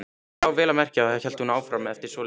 Já, vel að merkja, hélt hún áfram eftir svolitla þögn.